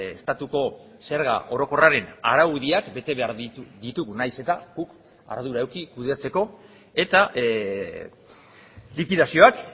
orokorrean estatuko zerga orokorraren araudiak bete behar ditugu nahiz eta guk ardura eduki kudeatzeko eta